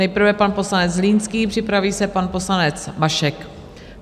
Nejprve pan poslanec Zlínský, připraví se pan poslanec Mašek.